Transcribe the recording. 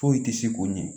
Foyi tɛ se k'o ɲɛ